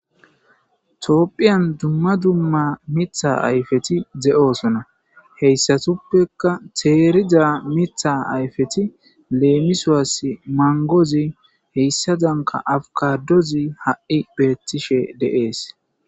Toopphiyan dumma dumma mitha ayfeti ze7osona heyssatuppeka teeriza mitha ayfeti leemisuwas mangozi heyssa danka afkadozi ha7i beettishe deees.